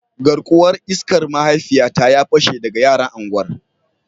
Garkuwar iskar mahaifiyata ya pashe daga yaran unguwar